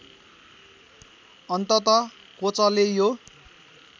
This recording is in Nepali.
अन्तत कोचले यो